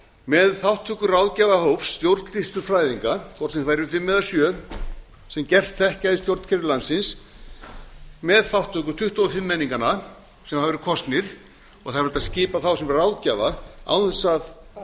með þátttöku ráðgjafahóps stjórnsýslufræðinga hvort það yrðu fimm eða sjö sem gerst þekkja í stjórnkerfum landsins með þátttöku tuttugu og fimm menninganna sem hafa verið kosnir og það er hægt að skipa þá sem ráðgjafa án þess að